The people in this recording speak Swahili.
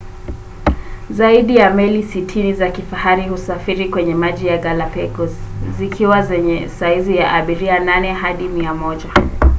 zaidi ya meli 60 za kifahari husafiri kwenye maji ya galapagos - zikiwa zenye saizi ya abiria 8 hadi 100